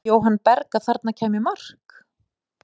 Hélt Jóhann Berg að þarna kæmi mark?